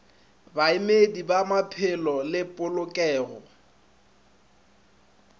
baemedi ba maphelo le polokego